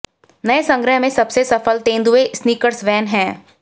नए संग्रह में सबसे सफल तेंदुए स्नीकर्स वैन हैं